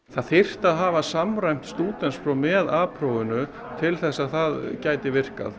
það þyrfti að hafa samræmt stúdentspróf með a prófinu til þess að það gæti virkað